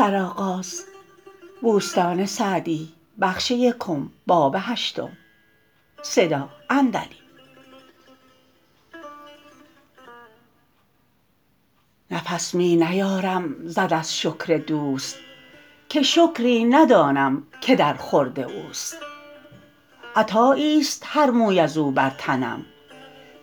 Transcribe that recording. نفس می نیارم زد از شکر دوست که شکری ندانم که در خورد اوست عطایی است هر موی از او بر تنم